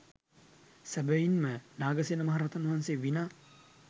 සැබැවින් ම නාගසේන මහරහතන් වහන්සේ විනා